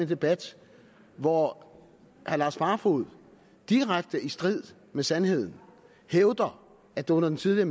debat hvor herre lars barfoed direkte i strid med sandheden hævder at det under den tidligere